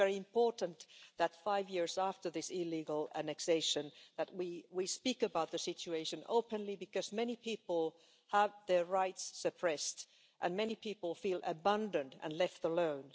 It's very important that, five years after this illegal annexation, we speak about the situation openly, because many people have had their rights suppressed and many people feel abandoned and left alone.